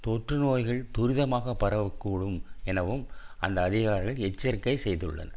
தொற்று நோய்கள் துரிதமாக பரவ கூடும் எனவும் அந்த அதிகாரிகள் எச்சரிக்கை செய்துள்ளனர்